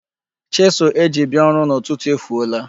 Chisụl e ji bia ọrụ n'ụtụtụ efuola.